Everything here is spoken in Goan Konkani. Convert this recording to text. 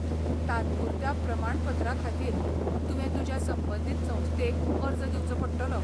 तात्पुरत्या प्रमाणपत्राखातीर तुवें तुज्या संबंदीत संस्थेक अर्ज दिवचो पडटलो.